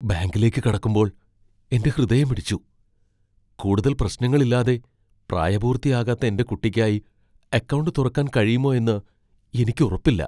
ബാങ്കിലേക്ക് കടക്കുമ്പോൾ , എന്റെ ഹൃദയമിടിച്ചു, കൂടുതൽ പ്രശ്നങ്ങൾ ഇല്ലാതെ പ്രായപൂർത്തിയാകാത്ത എന്റെ കുട്ടിക്കായി അക്കൗണ്ട് തുറക്കാൻ കഴിയുമോ എന്ന് എനിക്ക് ഉറപ്പില്ല.